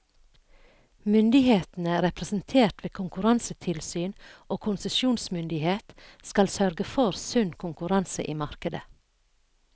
Myndighetene, representert ved konkurransetilsyn og konsesjonsmyndighet, skal sørge for sunn konkurranse i markedet.